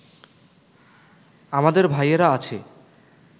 আমাদের ভাইয়েরা আছে